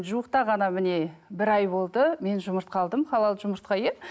жуықта ғана міне бір ай болды мен жұмыртқа алдым халал жұмыртқа иә